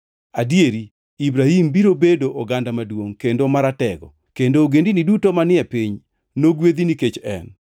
Adieri Ibrahim biro bedo oganda maduongʼ kendo maratego, kendo ogendini duto manie piny nogwedhi nikech en.